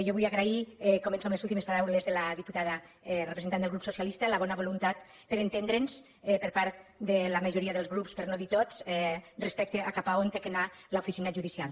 jo vull agrair començo amb les últimes paraules de la diputada representant del grup socialista la bona voluntat per a entendre’ns per part de la majoria dels grups per no dir tots respecte a cap a on ha d’anar l’oficina judicial